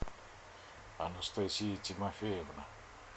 анастасия тимофеевна